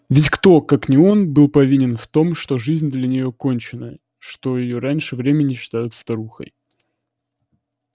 ведь кто как не он был повинен в том что жизнь для нее кончена что её раньше времени считают старухой